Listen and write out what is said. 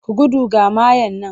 Ku gudu ga mayya nan!